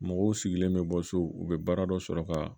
Mɔgɔw sigilen bɛ bɔ so u bɛ baara dɔ sɔrɔ ka